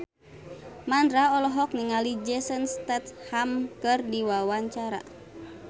Mandra olohok ningali Jason Statham keur diwawancara